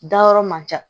Dayɔrɔ man ca